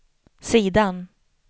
sidan